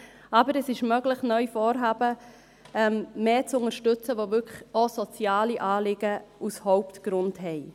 Aber es ist neu möglich, Vorhaben mehr zu unterstützen, die wirklich auch soziale Anliegen als Hauptgrund haben.